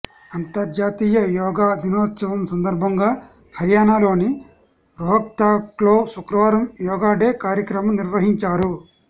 అంతర్జాతీయ యోగా దినోత్సవం సందర్భంగా హర్యానాలోని రోహ్తక్లో శుక్రవారం యోగా డే కార్యక్రమం నిర్వహించారు